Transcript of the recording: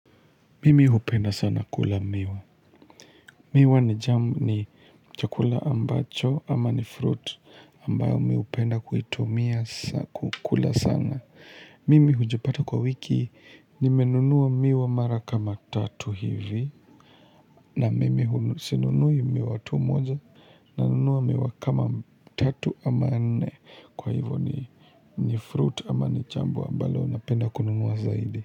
Mimi hupenda sana kula miwa. Miwa ni jamu ni chakula ambacho ama ni fruit ambayo mimi hupenda kuitumia kukula sana. Mimi hujipata kwa wiki nimenunua miwa mara kama tatu hivi na mimi sinunui miwa tu moja nanunua miwa kama tatu ama nne kwa hivyo ni fruit ama ni jambo ambalo napenda kununua zaidi.